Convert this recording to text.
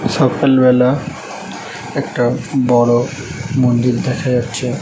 সকালবেলা একটা বড় মন্দির দেখা যাচ্ছে।